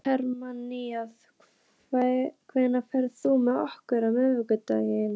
Hermína, ferð þú með okkur á miðvikudaginn?